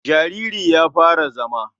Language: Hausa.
Jariri ya fara zama.